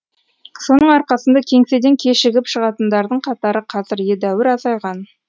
соның арқасында кеңседен кешігіп шығатындардың қатары қазір едәуір азайған